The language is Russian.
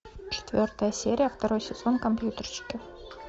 четвертая серия второй сезон компьютерщики